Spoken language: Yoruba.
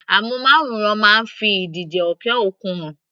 Amúnmáwòrán máa ń fi ìdíje òkè òkun hàn.